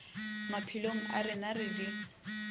maphelong a rena re di